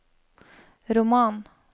roman